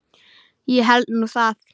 Ég held nú það!